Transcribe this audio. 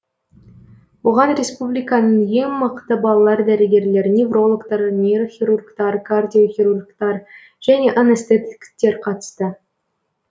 оған республиканың ең мықты балалар дәрігерлері неврологтар нейрохирургтар кардиохирургтар және анестетиктер қатысты